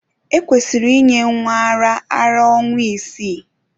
Ekwesịrị inye nwa ara ara ọnwa isii.